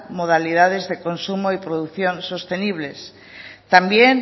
modalidades de consumo y producción sostenible también